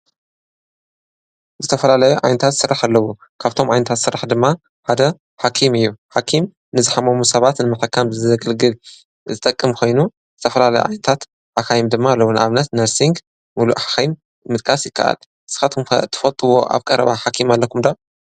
ዝተፈላለዩ ዓይነታት ስራሕ ኣለዉ፡፡ ካብቶም ዓይነታት ስራሕ ድማ ሓደ ሓኪም እዩ፡፡ ሓኪም ንዝሓመሙ ሰባት ንምሕካም ዘግልግል ዝጠቅም ኮይኑ ዝተፈላለዩ ዓይነታት ሓኻይም ድማ ኣለዉ፡፡ ንኣብነት ነርስን ምሉእ ሓኻይምን ምጥቃስ ይከኣል፡፡ ንስኻትኩም ትፈልጥዎ ኣብ ቀረባ ኃኪም ኣለኩም ዶ?